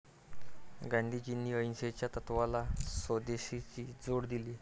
गांधीजींनी अहिंसेच्या तत्वाला स्वदेशची जोड दिली.